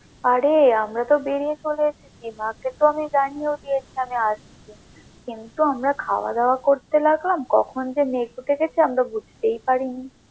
আরে আমরা তো বেরিয়ে চলে এসেছি মাকে তো আমি জানিয়েও দিয়েছি যে আমি আসবো কিন্তু আমরা খাওয়া দাওয়া করতে থাকলাম কখন যে মেঘ উঠে গেছে আমরা তো বুঝতেই পারিনি।